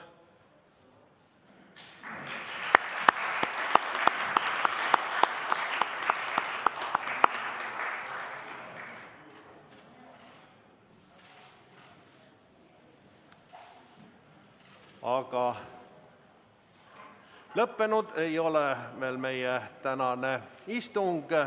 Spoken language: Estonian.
Aga meie tänane istung ei ole veel lõppenud.